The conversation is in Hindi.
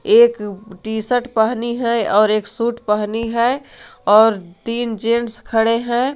एक टी शर्ट पहनी है और एक सूट पहनी है और तीन जेंट्स खड़े हैं।